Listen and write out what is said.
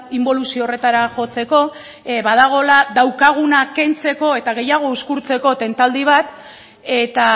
inboluzio horretara jotzeko badagoela daukaguna kentzeko eta gehiago uzkurtzeko tentaldi eta